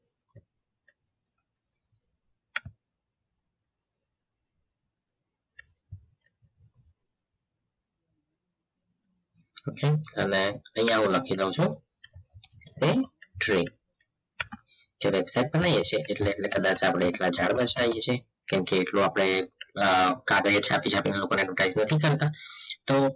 okay અને હું અહીંયા લખી લઉં છું pen trey જ્યારે એટલે એટલે કદાચ આપણે ઝાડ વરસાઈએ છીએ કેમકે એટલો આપણે કાગડા છાપી છાપીને લોકો ને નથી કરતા તો